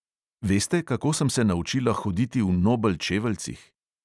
Veste, kako sem se naučila hoditi v nobel čeveljcih?